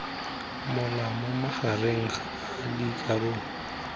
mola mo magareng a dikarolo